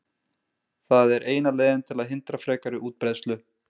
Það er eina leiðin til að hindra frekari útbreiðslu.